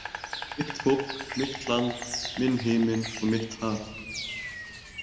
Mitt fólk, mitt land, minn himinn og mitt haf.